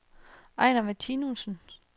Ejnar Martinussen